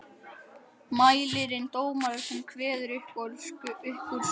Mælirinn dómari sem kveður upp úrskurðinn.